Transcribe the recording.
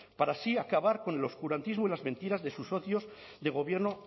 para así acabar con el oscurantismo y las mentiras de sus socios de gobierno